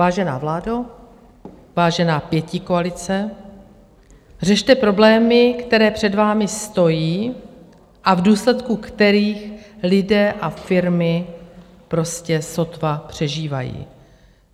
Vážená vládo, vážená pětikoalice, řešte problémy, které před vámi stojí a v důsledku kterých lidé a firmy prostě sotva přežívají.